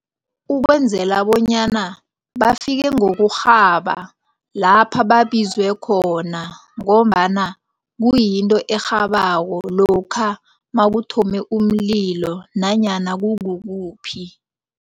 Ukwenzela bonyana bafike ngokurhaba lapha babizwe khona. Ngombana kuyinto erhabako lokha nakuthome umlilo nanyana kukukuphi.